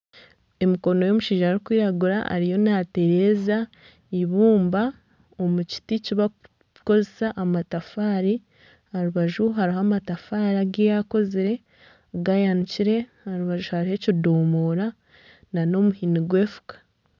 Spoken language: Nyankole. Emikono y'omushaija arikwiragura ariyo naatereza ibumba omu kiti kibarikukozesa amatafaari. Aha rubaju hariho amatafaari agu yaakozire ganikire. Aha rubaju hariho ekidomora n'omuhini gw'efuka.